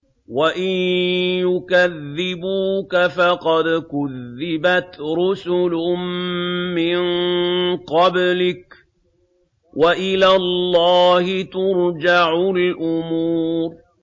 وَإِن يُكَذِّبُوكَ فَقَدْ كُذِّبَتْ رُسُلٌ مِّن قَبْلِكَ ۚ وَإِلَى اللَّهِ تُرْجَعُ الْأُمُورُ